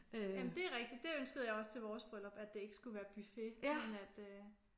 Jamen det er rigtigt. Det ønskede jeg også til vores bryllup at det ikke skulle være buffet men at øh